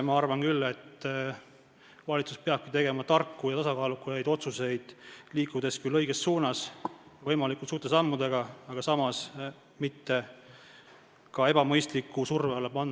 Ma arvan, et valitsus peabki tegema tarku ja tasakaalukaid otsuseid, liikudes küll võimalikult suurte sammudega õiges suunas, aga samas ei tohi oma ühiskonda ja tootmist ka ebamõistliku surve alla panna.